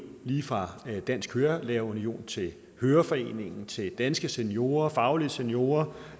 lige fra dansk kørelærer union til høreforeningen til danske seniorer faglige seniorer